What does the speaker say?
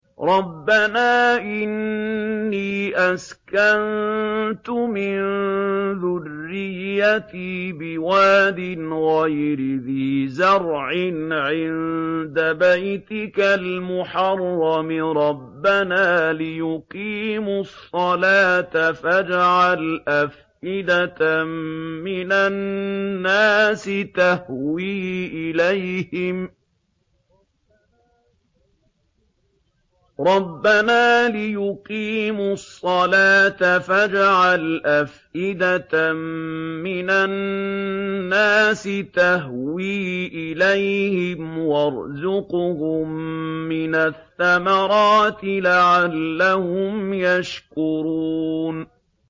رَّبَّنَا إِنِّي أَسْكَنتُ مِن ذُرِّيَّتِي بِوَادٍ غَيْرِ ذِي زَرْعٍ عِندَ بَيْتِكَ الْمُحَرَّمِ رَبَّنَا لِيُقِيمُوا الصَّلَاةَ فَاجْعَلْ أَفْئِدَةً مِّنَ النَّاسِ تَهْوِي إِلَيْهِمْ وَارْزُقْهُم مِّنَ الثَّمَرَاتِ لَعَلَّهُمْ يَشْكُرُونَ